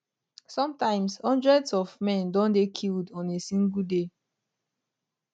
sometimes hundreds of men don dey killed on a single day